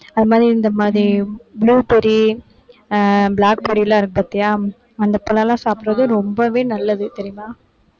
அது மாதிரி இந்த மாதிரி blueberry ஆஹ் blackberry லாம் இருக்கு பாத்தியா அந்த பழம் எல்லாம் சாப்பிடுறது ரொம்பவே நல்லது தெரியுமா